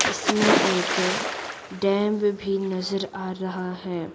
इसमें एक डैम भी नजर आ रहा है।